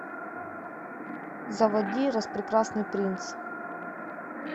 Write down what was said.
заводи распрекрасный принц